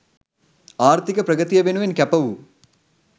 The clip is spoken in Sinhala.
ආර්ථික ප්‍රගතිය වෙනුවෙන් කැප වූ